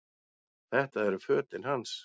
Þetta eru fötin hans!